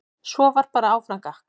Svo var bara áfram gakk.